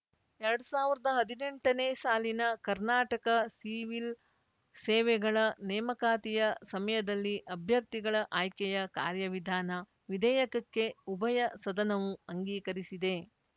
ಎರಡ್ ಸಾವಿರದ ಹದ್ನೆಂಟನೇ ಸಾಲಿನ ಕರ್ನಾಟಕ ಸಿವಿಲ್‌ ಸೇವೆಗಳ ನೇಮಕಾತಿಯ ಸಮಯದಲ್ಲಿ ಅಭ್ಯರ್ಥಿಗಳ ಆಯ್ಕೆಯ ಕಾರ್ಯವಿಧಾನ ವಿಧೇಯಕಕ್ಕೆ ಉಭಯ ಸದನವು ಅಂಗೀಕರಿಸಿದೆ